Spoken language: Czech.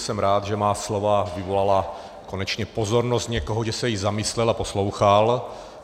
Jsem ráda, že má slova vyvolala konečně pozornost někoho, že se i zamyslel a poslouchal.